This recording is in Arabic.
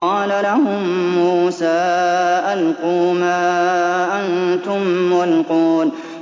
قَالَ لَهُم مُّوسَىٰ أَلْقُوا مَا أَنتُم مُّلْقُونَ